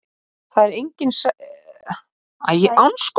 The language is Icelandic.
Það er enginn sætleiki í tvísoðnu kali.